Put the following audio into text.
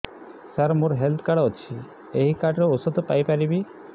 ସାର ମୋର health card ଅଛି ଏହି କାର୍ଡ ରେ ଔଷଧ ପାଇପାରିବି